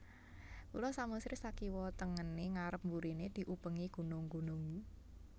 Pulo Samosir sakiwa tengene ngarep burine diubengi gunung gunung